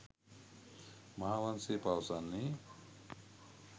මහාවංශය පවසන්නේ